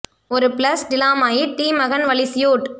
ஒரு பிளஸ் டி லா மாயிட் டி மகன் வலி சியூட்